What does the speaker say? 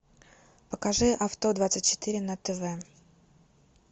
покажи авто двадцать четыре на тв